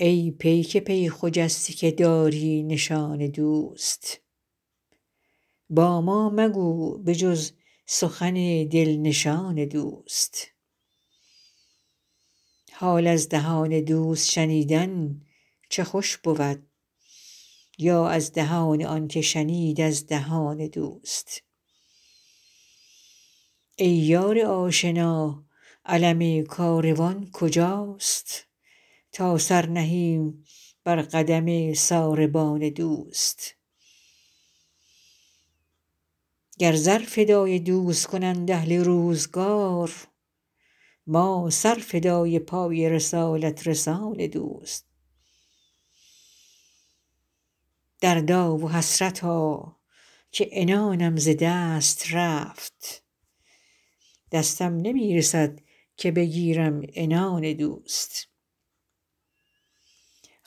ای پیک پی خجسته که داری نشان دوست با ما مگو به جز سخن دل نشان دوست حال از دهان دوست شنیدن چه خوش بود یا از دهان آن که شنید از دهان دوست ای یار آشنا علم کاروان کجاست تا سر نهیم بر قدم ساربان دوست گر زر فدای دوست کنند اهل روزگار ما سر فدای پای رسالت رسان دوست دردا و حسرتا که عنانم ز دست رفت دستم نمی رسد که بگیرم عنان دوست